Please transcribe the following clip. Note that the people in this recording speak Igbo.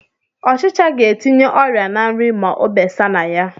Ọchicha ga-etinye ọrịa ná nri ma o besa na ya